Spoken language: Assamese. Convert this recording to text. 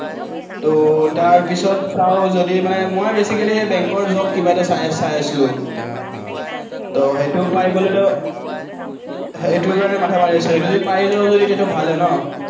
তো তাৰ পিচত চাওঁ যদি মানে মই basically সেই bank ৰ job কিবা এটা চাই আছিলো। তো সেইটো পাই গলেতো, সেইটোৰ কাৰণে মাঠা মাৰি আছো, যদি পাই যাওঁ যদি ভালেই আৰু ন